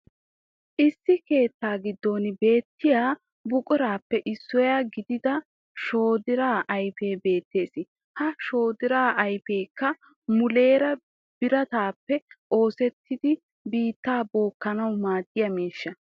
Issi keettaa giddon beetiya buquraappe issuwa gidida shoddiraa ayfee beettees. Ha shoddiraa ayfekka muleeraa biratappe oosettida biittaa bookkanawu maadiya miishshaa.